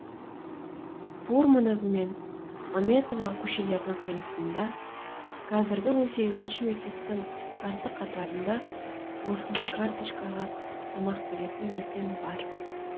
фурманов мен мәметова көшелерінің қиылысында қазіргі он сегізінші мектептің қарсы қатарында осындай карточкаға тамақ беретін дүкен бар